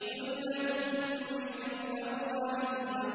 ثُلَّةٌ مِّنَ الْأَوَّلِينَ